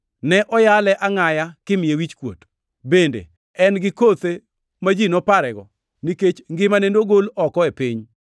Ne oyale angʼaya kimiye wichkuot. Bende en gi kothe ma ji noparego? Nikech ngimane nogol oko e piny.” + 8:33 \+xt Isa 53:7,8\+xt*